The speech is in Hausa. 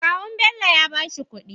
Kawun Bello yabashi kudi